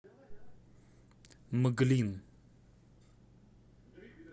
мглин